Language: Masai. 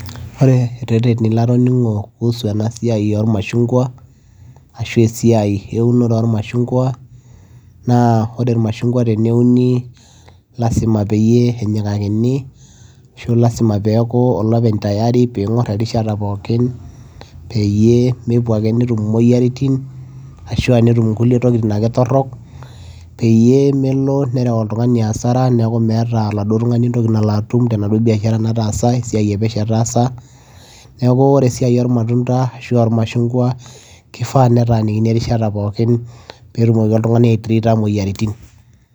ore ireteni latoning'o kuhusu ena siai ormashungwa ashu esiai eunore ormashungwa naa ore irmashungwa teneuni lasima peyie enyikakini ashu lasima peeku olopeny tayari ping'orr erishata pookin peyie mepuo ake netum imoyiaritin ashua netum nkulie tokitin ake torrok peyie melo nerew oltung'ani asara neeku meeta oladuo tung'ani entoki nalo atum tenaduo biashara nataasa esiai epesho etaasa neeku ore esiai ormatunda ashua irmashungwa kifaa netanikini erishata pookin petumoki oltung'ani ae trita imoyiaritin.